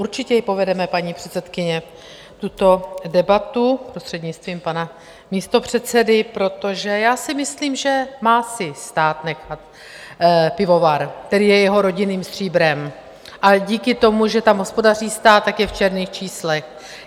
Určitě ji povedeme, paní předsedkyně, tuto debatu, prostřednictvím pana místopředsedy, protože já si myslím, že má si stát nechat pivovar, který je jeho rodinným stříbrem, ale díky tomu, že tam hospodaří stát, tak je v černých číslech.